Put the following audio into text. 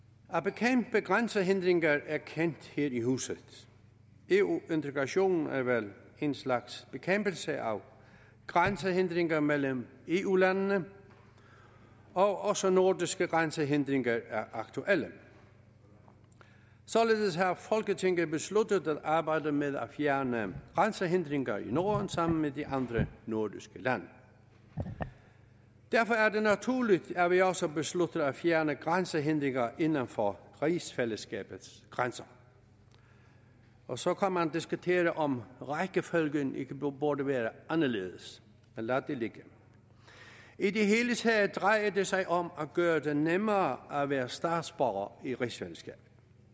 at bekæmpe grænsehindringer er kendt her i huset eu integrationen er vel en slags bekæmpelse af grænsehindringer mellem eu landene og også nordiske grænsehindringer er aktuelle således har folketinget besluttet at arbejde med at fjerne grænsehindringer i norden sammen med de andre nordiske lande derfor er det naturligt at vi også beslutter at fjerne grænsehindringer inden for rigsfællesskabets grænser og så kan man diskutere om rækkefølgen ikke burde være anderledes men lad det ligge i det hele taget drejer det sig om at gøre det nemmere at være statsborger i rigsfællesskabet